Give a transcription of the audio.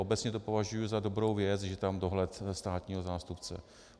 Obecně to považuji za dobrou věc, že tam je dohled státního zástupce.